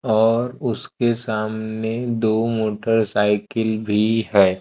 और उसके सामने दो मोटरसाइकिल भी है।